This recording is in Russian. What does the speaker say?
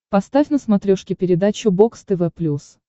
поставь на смотрешке передачу бокс тв плюс